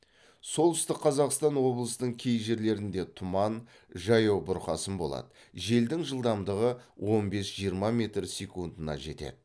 солтүстік қазақстан облысының кей жерлерінде тұман жаяу бұрқасын болады желдің жылдамдығы он бес жиырма метр секундына жетеді